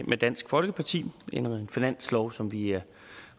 med dansk folkeparti en finanslov som vi er